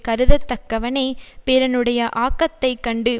கருதத் தக்கவனே பிறனுடைய ஆக்கத்தை கண்டு